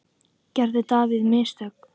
Gerði David mistök?